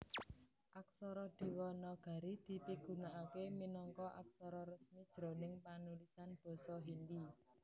Aksara Déwanagari dipigunakaké minangka aksara resmi jroning panulisan Basa Hindi